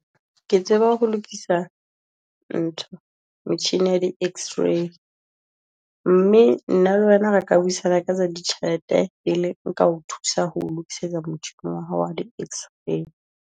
Ke tseba ho lokisa ntho metjhini ya di x-ray, mme nna le wena re ka buisana ka tsa ditjhelete, pele nka o thusa ho lokisetsa wa hao wa di x-ray.